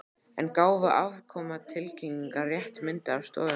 En gáfu afkomutilkynningar rétta mynd af stöðunni?